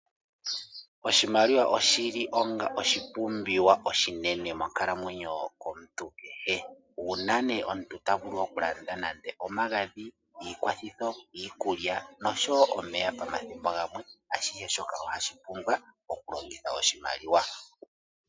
Oshimaliwa oshi li onga oshipumbiwa oshinene monkalamwenyo yomuntu kehe. Uuna nee omuntu ta vulu okulanda nande omagadhi, iikwathitho, iikulya nosho wo omeya pamathimbo gamwe, ashihe shoka ohashi pumbwa okulongitha oshimaliwa.